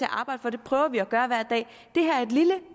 arbejde for det prøver vi at gøre hver dag det her er et lille